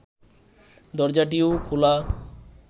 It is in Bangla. দরজাটিও খোলা